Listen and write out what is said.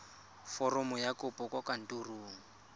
foromo ya kopo kwa kantorong